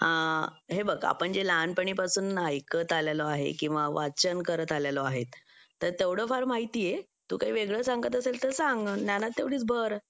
हे बघ आपण जे लहानपणीपासून ऐकत आलेलो आहेत किंवा वाचन करत आलेलो आहेत तर तेवढं मला माहिती आहे तू काय वेगळं सांगत असेल तर सांग ज्ञानात तेवढीच भर